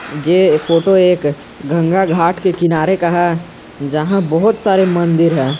यह फोटो एक गंगा घाट के किनारे का है जहां बहोत सारे मंदिर है।